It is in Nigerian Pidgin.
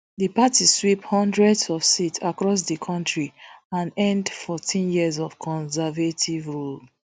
di party sweep hundreds of seats across di kontri and end fourteen years of conservative rule